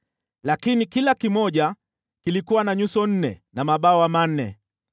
lakini kila kimoja kilikuwa na nyuso nne na mabawa manne.